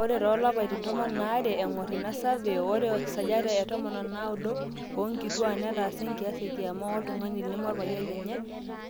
ore toolapaitin tomon aare eng'or ina survey ore 19% oonkituaak neetaasa enkias ekiama woltung'ani lemorpayian lenye